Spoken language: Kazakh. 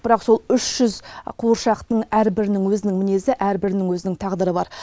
бірақ сол үш жүз қуыршақтың әрбірінің өзінің мінезі әрбірінің өзінің тағдыры бар